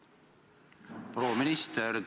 Proua minister!